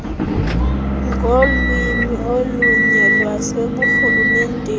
ngolwimi olunye lwaseburhulumenteni